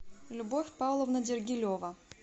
любовь павловна дергилева